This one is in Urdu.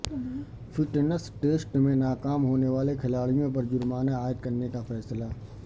فٹنس ٹیسٹ میں ناکام ہونے والے کھلاڑیوں پر جرمانہ عائد کرنے کا فیصلہ